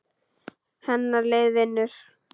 Hennar lið vinnur.